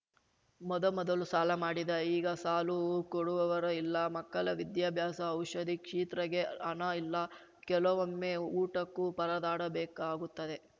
ಮೊದಮೊದಲು ಸಾಲ ಮಾಡಿದೆ ಈಗ ಸಾಲು ಕೊಡುವವರೂ ಇಲ್ಲ ಮಕ್ಕಳ ವಿದ್ಯಾಭ್ಯಾಸಔಷದಿ ಕ್ಷಿತ್ರಿಗೆ ಹಣ ಇಲ್ಲ ಕೆಲವೊಮ್ಮೆ ಊಟಕ್ಕೂ ಪರದಾಡಬೇಕಾಗುತ್ತದೆ